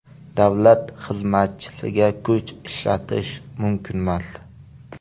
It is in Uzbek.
Davlat xizmatchisiga kuch ishlatish mumkinmas.